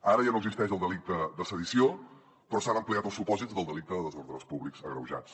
ara ja no existeix el delicte de sedició però s’han ampliat els supòsits del delicte de desordres públics agreujats